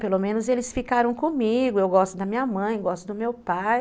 Pelo menos eles ficaram comigo, eu gosto da minha mãe, gosto do meu pai.